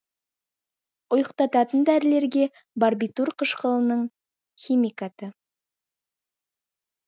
ұйықтататын дәрілерге барбитур қышқылының химикаты